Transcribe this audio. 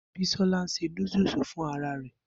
Bisola ń ṣe núdúsì fún ara rẹ̀